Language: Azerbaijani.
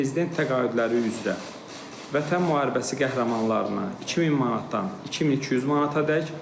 Prezident təqaüdləri üzrə, Vətən müharibəsi qəhrəmanlarına 2000 manatdan 2200 manatadək.